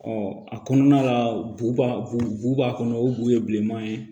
a kɔnɔna la bo b'a bu b'a kɔnɔ o bu ye bilenman ye